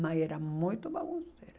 Mas era muito bagunceira.